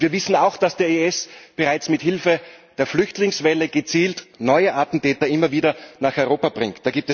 Wir wissen auch, dass der IS bereits mit Hilfe der Flüchtlingswelle gezielt neue Attentäter immer wieder nach Europa bringt.